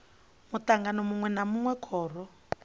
mutangano munwe na munwe khoro